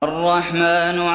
الرَّحْمَٰنُ